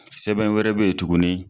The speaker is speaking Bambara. Sɛbɛn wɛrɛ bɛ ye tuguni.